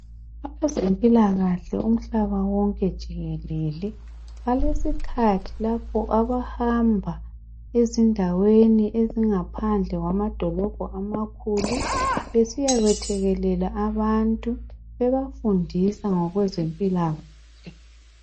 Abazemphilakahle umhlaba wonke jikelele, baleskhathi lapho abahamba ezindaweni ezingaphandle kwamadolobho amakhulu, besiya yekuthekelela abantu bebafundisa ngo kwezemphilakahle.